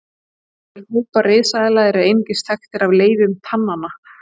Nokkrir hópar risaeðla eru einungis þekktir af leifum tanna.